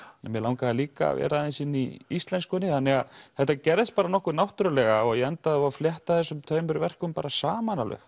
mig langaði líka að vera aðeins inni í íslenskunni þannig að þetta gerðist bara nokkuð náttúrulega og ég endaði á að flétta þessum tveimur verkum saman alveg